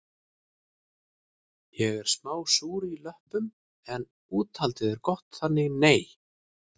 Ég er smá súr í löppum en úthaldið er gott þannig nei